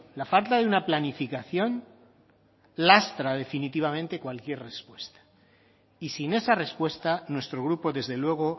la falta de una planificación lastra definitivamente cualquier respuesta y sin esa respuesta nuestro grupo desde luego